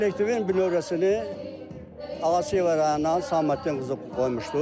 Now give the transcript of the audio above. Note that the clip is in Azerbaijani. Kollektivin bünövrəsini Ağaşiyə rayonunun Səlahəddin qızı qoymuşdur.